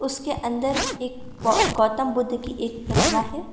उसके अंदर एक गौतम बुद्ध की एक प्रतिमा है।